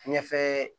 Ɲɛfɛ